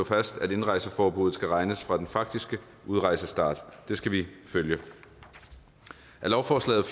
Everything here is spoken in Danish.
fast at indrejseforbuddet skal regnes fra den faktiske udrejsestart det skal vi følge i lovforslaget